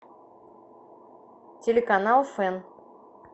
телеканал фэн